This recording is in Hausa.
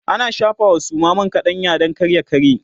ana shafawa Suma man kaɗanya Dan kar ya karye